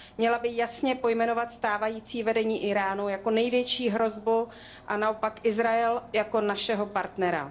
Měla by jasně pojmenovat stávající vedení Íránu jako největší hrozbu a naopak Izrael jako našeho partnera.